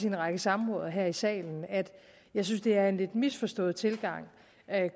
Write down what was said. en række samråd og her i salen at jeg synes det er en lidt misforstået tilgang